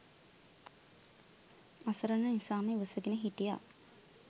අසරණ නිසාම ඉවසගෙන හිටියා.